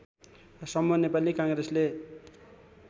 सम्म नेपाली काङ्ग्रेसले